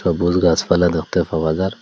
সবুজ গাছপালা দেখতে পাওয়া যার--